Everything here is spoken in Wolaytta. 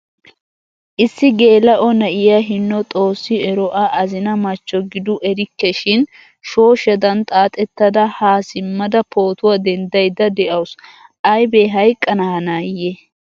Issi gela'o na'iyaa hino xoossi ero A azina machcho gidu erikke shin shooshshadan xaaxettada ha simada pootuwaa denddayda de'awusu. Aybe hayqqana hanayee?